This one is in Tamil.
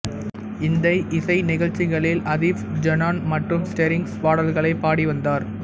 இந்த இசை நிகழ்ச்சிகளில் அதிஃப் ஜுனூன் மற்றும் ஸ்ட்ரிங்ஸ் பாடல்களைப் பாடி வந்தார்